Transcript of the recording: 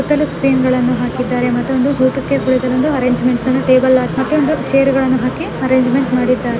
ಸುತ್ತಲು ಸ್ಕ್ರೀನ್ಗಳನ್ನು ಹಾಕಿದ್ದಾರೆ ಮತ್ತೊಂದು ಊಟಕ್ಕೆ ಕುಳಿತಳು ಒಂದು ಅರೇಂಜ್ಮೆಂಟ್ಸ್ ಅನ್ನ ಟೇಬಲ್ ಹಾಕಿ ಮತ್ತೊಂದು ಚೈರ್ಗಳನ್ನು ಹಾಕಿ ಅರೇಂಜ್ಮೆಂಟ್ ಮಾಡಿದ್ದಾರೆ.